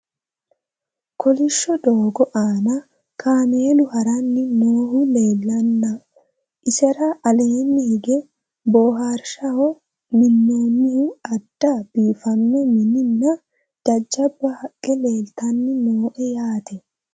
Kolishsho doogo aanna kaameelu haranni noohu leelanna, isera aleenni hige booharishaho minoonnihu adda biiffanno mini nna jajjabba haqqe, leelittanni noo yaatte